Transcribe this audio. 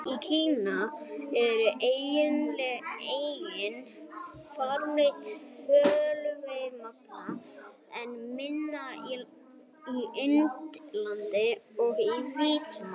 Í Kína er einnig framleitt töluvert magn, en minna á Indlandi og í Víetnam.